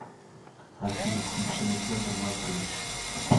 афина включи александр маркович